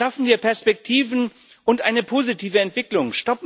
Schaffen wir Perspektiven und eine positive Entwicklung!